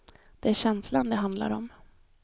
Det är känslan det handlar om.